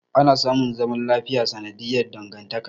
Ana samun zaman lafiya sanadiyar dangantaka.